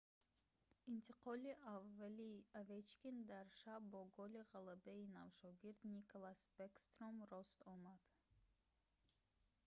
интиқоли аввали овечкин дар шаб бо голи ғалабаи навшогирд никлас бэкстром рост омад